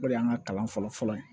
O de y'an ka kalan fɔlɔfɔlɔ ye